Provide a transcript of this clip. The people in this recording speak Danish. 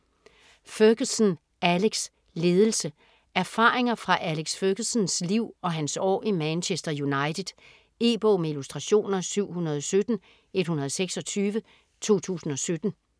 Ferguson, Alex: Ledelse Erfaringer fra Alex Fergusons liv og hans år i Manchester United. E-bog med illustrationer 717126 2017.